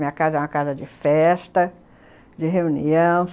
Minha casa é uma casa de festa, de reunião.